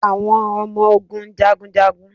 Awọn ọmọ ogun jagun jagun.